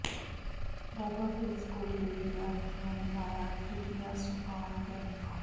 ਬਾਬਾ Farid school ਦੇ ਵਿਦਿਆਰਥੀਆਂ ਨੇ ਲਾਇਆ ਤ੍ਰਿਤੀਆ ਸੋਪਾਨ ਕੈਂਪ